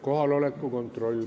Kohaloleku kontroll.